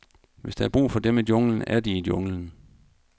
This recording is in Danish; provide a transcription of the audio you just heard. Hvis der er brug for dem i junglen, er de i junglen.